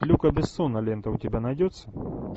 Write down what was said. люка бессона лента у тебя найдется